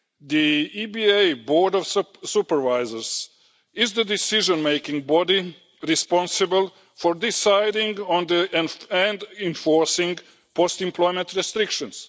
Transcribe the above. The EBA Board of Supervisors is the decision making body responsible for deciding on and enforcing post employment restrictions.